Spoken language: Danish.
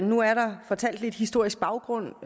nu er der fortalt lidt historisk baggrund